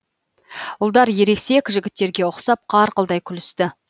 ұлдар ересек жігіттерге ұқсап қарқылдай күлісті